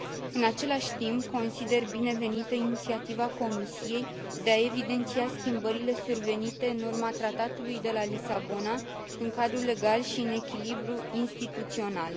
În același timp, consider binevenită inițiativa Comisiei de a evidenția schimbările survenite în urma Tratatului de la Lisabona în cadrul legal și în echilibrul instituțional.